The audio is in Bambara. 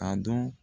A dɔn